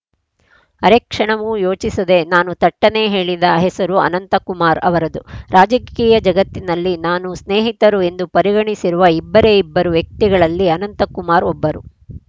ಅರೆಕ್ಷಣವೂ ಯೋಚಿಸದೆ ನಾನು ಥಟ್ಟನೆ ಹೇಳಿದ ಹೆಸರು ಅನಂತಕುಮಾರ್‌ ಅವರದು ರಾಜಕೀಯ ಜಗತ್ತಿನಲ್ಲಿ ನಾನು ಸ್ನೇಹಿತರು ಎಂದು ಪರಿಗಣಿಸಿರುವ ಇಬ್ಬರೇ ಇಬ್ಬರು ವ್ಯಕ್ತಿಗಳಲ್ಲಿ ಅನಂತಕುಮಾರ್‌ ಒಬ್ಬರು